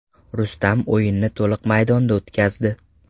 Rustam o‘yinni to‘liq maydonda o‘tkazdi.